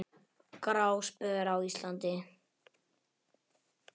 Gráspör á Íslandi